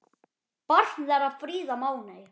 Barn þeirra Fríða Máney.